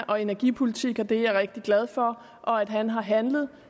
og energipolitik og det er jeg rigtig glad for og at han har handlet